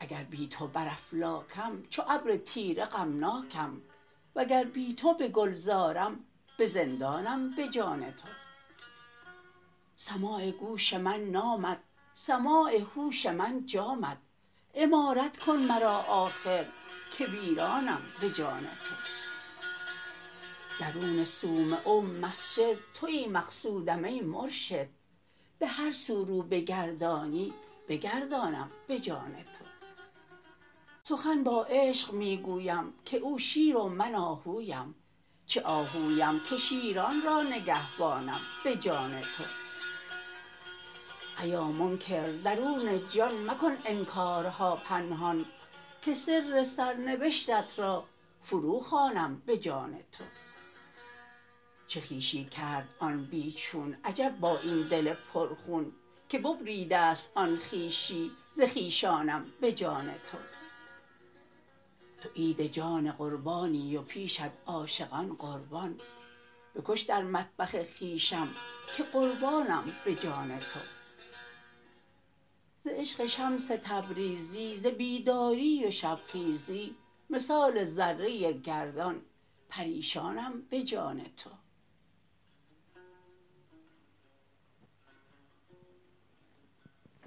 اگر بی تو بر افلاکم چو ابر تیره غمناکم وگر بی تو به گلزارم به زندانم به جان تو سماع گوش من نامت سماع هوش من جامت عمارت کن مرا آخر که ویرانم به جان تو درون صومعه و مسجد توی مقصودم ای مرشد به هر سو رو بگردانی بگردانم به جان تو سخن با عشق می گویم که او شیر و من آهویم چه آهویم که شیران را نگهبانم به جان تو ایا منکر درون جان مکن انکارها پنهان که سر سرنبشتت را فروخوانم به جان تو چه خویشی کرد آن بی چون عجب با این دل پرخون که ببریده ست آن خویشی ز خویشانم به جان تو تو عید جان قربانی و پیشت عاشقان قربان بکش در مطبخ خویشم که قربانم به جان تو ز عشق شمس تبریزی ز بیداری و شبخیزی مثال ذره گردان پریشانم به جان تو